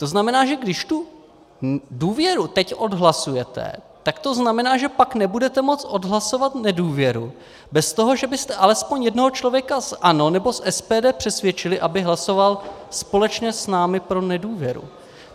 To znamená, že když tu důvěru teď odhlasujete, tak to znamená, že pak nebudete moct odhlasovat nedůvěru bez toho, že byste alespoň jednoho člověka z ANO nebo z SPD přesvědčili, aby hlasoval společně s námi pro nedůvěru.